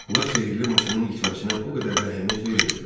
Onlar sehirli maşının itməsinə o qədər də əhəmiyyət vermirdilər.